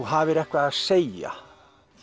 hafir eitthvað að segja